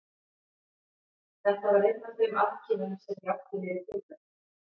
Þetta var einn af þeim afkimum sem ég átti mér í tilverunni.